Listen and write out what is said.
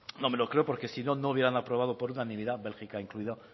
no me lo creo porque si no no hubieran aprobado por unanimidad bélgica incluida